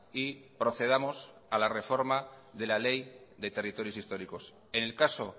y procedamos a la reforma de la ley de territorios históricos en el caso